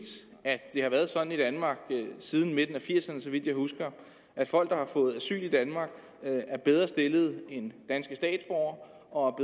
at det har været sådan i danmark siden midten af nitten firserne så vidt jeg husker at folk der har fået asyl i danmark er bedre stillet end danske statsborgere og